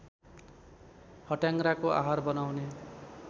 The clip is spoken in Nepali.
फट्याङ्ग्राको आहार बनाउने